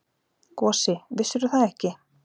Gosi, vissirðu það ekki?